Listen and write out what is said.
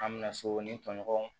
An bɛna so ni tɔɲɔgɔn